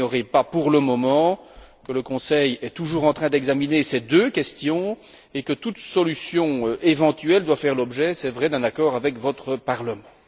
Vous n'ignorez pas pour le moment que le Conseil est toujours en train d'examiner ces deux questions et que toute solution éventuelle doit faire l'objet, c'est vrai, d'un accord avec votre Parlement.